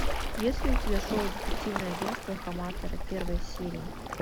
есть ли у тебя шоу детективное агенство хаматора первая серия